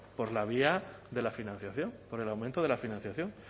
por la vía de la financiación por el aumento de la financiación